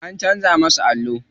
An canza musu allo.